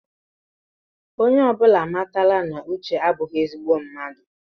Onye ọbụla amatala na uche abụghí ezigbo mmadụ